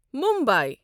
Mumbai